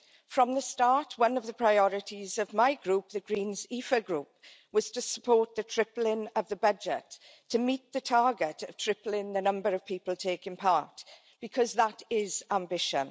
From the start, one of the priorities of my group, the Greens EFA Group, was to support the tripling of the budget to meet the target of tripling the number of people taking part, because that is ambition.